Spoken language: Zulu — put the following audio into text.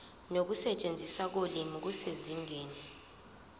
nokusetshenziswa kolimi kusezingeni